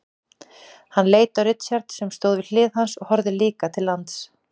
Hann leit á Richard sem stóð við hlið hans og horfði líka til lands.